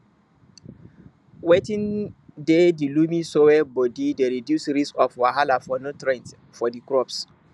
watin dey di loamy soil body dey reduce risk of wahala for nutrients for di crops